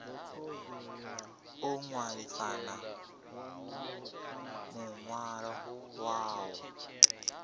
o hwalisana muhwalo wa u